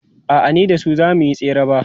a'a ni da su zamuyi tsere ba